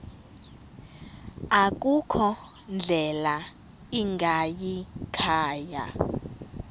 akukho ndlela ingayikhaya